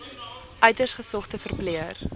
uiters gesogde verpleër